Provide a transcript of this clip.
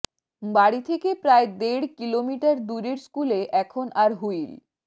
বাড়ি থেকে প্রায় দেড় কিলোমিটার দূরের স্কুলে এখন আর হুইল